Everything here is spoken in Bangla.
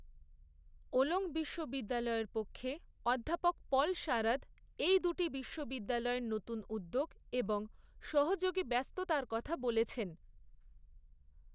ওলং বিশ্ববিদ্যালয়ের পক্ষে অধ্যাপক পল শারাদ এই দুটি বিশ্ববিদ্যালয়ের নতুন উদ্যোগ এবং সহযোগী ব্যস্ততার কথা বলেছেন।